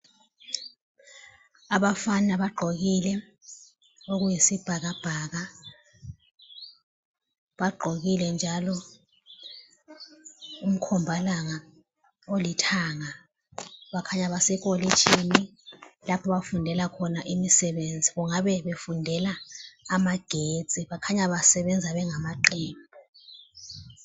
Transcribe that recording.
Abafana bagqokile okuyisibhakabhaka, bagqokile njalo umkhombalanga olithanga. Bakhanya besekolitshini lapho abafundela khona imisebenzi, kungabe befundela amagetsi. Bakhanya besebenza ngamaqembu.